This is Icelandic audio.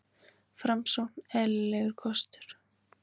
Framsókn eðlilegur kostur